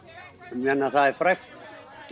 ég meina það er frægt